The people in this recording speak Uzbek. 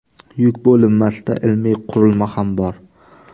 Yuk bo‘linmasida ilmiy qurilma ham bor.